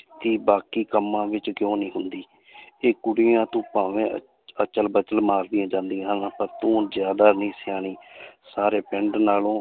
ਬਾਕੀ ਕੰਮਾਂ ਵਿੱਚ ਕਿਉਂ ਨਹੀਂ ਹੁੰਦੀ ਇਹ ਕੁੜੀਆਂ ਤੋਂ ਭਾਵੇ ਅ~ ਅਚਲ ਬਚਲ ਮਾਰਦੀਆਂ ਜਾਂਦੀਆਂ ਹਨ ਪਰ ਤੂੰ ਜ਼ਿਆਦਾ ਨੀ ਸਿਆਣੀ ਸਾਰੇ ਪਿੰਡ ਨਾਲੋਂ